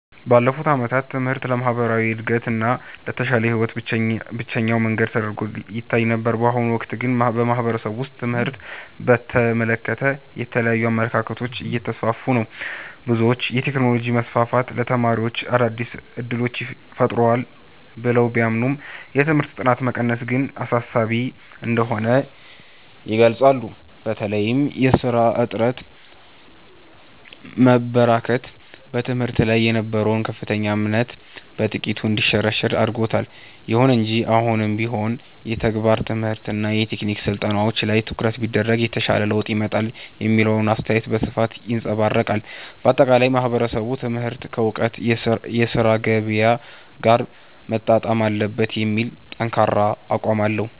ባለፉት ዓመታት ትምህርት ለማህበራዊ እድገትና ለተሻለ ህይወት ብቸኛው መንገድ ተደርጎ ይታይ ነበር። በአሁኑ ወቅት ግን በማህበረሰቡ ውስጥ ትምህርትን በተመለከተ የተለያዩ አመለካከቶች እየተስፋፉ ነው። ብዙዎች የቴክኖሎጂ መስፋፋት ለተማሪዎች አዳዲስ እድሎችን ፈጥሯል ብለው ቢያምኑም፣ የትምህርት ጥራት መቀነስ ግን አሳሳቢ እንደሆነ ይገልጻሉ። በተለይም የሥራ አጥነት መበራከት በትምህርት ላይ የነበረውን ከፍተኛ እምነት በጥቂቱ እንዲሸረሸር አድርጎታል። ይሁን እንጂ አሁንም ቢሆን የተግባር ትምህርትና የቴክኒክ ስልጠናዎች ላይ ትኩረት ቢደረግ የተሻለ ለውጥ ይመጣል የሚለው አስተያየት በስፋት ይንፀባረቃል። ባጠቃላይ ማህበረሰቡ ትምህርት ከወቅቱ የሥራ ገበያ ጋር መጣጣም አለበት የሚል ጠንካራ አቋም አለው።